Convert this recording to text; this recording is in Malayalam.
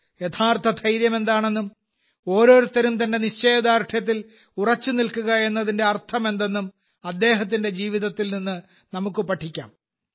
യഥാർത്ഥ ധൈര്യം എന്താണെന്നും ഓരോരുത്തരും തന്റെ നിശ്ചയദാർഢ്യത്തിൽ ഉറച്ചുനിൽക്കുക എന്നതിന്റെ അർത്ഥമെന്തെന്നും അദ്ദേഹത്തിന്റെ ജീവിതത്തിൽ നിന്ന് നമുക്ക് പഠിക്കാം